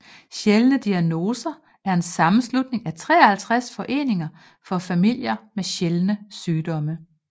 Sjældne Diagnoser er en sammenslutning af 53 foreninger for familier med sjældne sygdomme